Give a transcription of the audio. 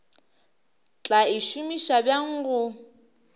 tla e šomiša bjang go